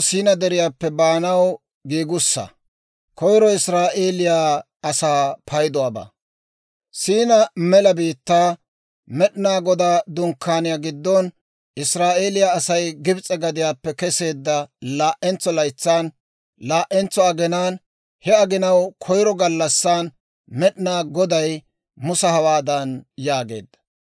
Siinaa Mela Biittaa, Med'inaa Godaa Dunkkaaniyaa giddon, Israa'eeliyaa Asay Gibs'e gadiyaappe keseedda laa"entso laytsan, laa"entso aginaan, he aginaw koyiro gallassan, Med'inaa Goday Musa hawaadan yaageedda;